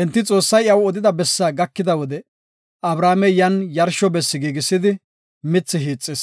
Enti Xoossay iyaw odida bessa gakida wode, Abrahaamey yan yarsho bessi giigisidi, mithi hiixis.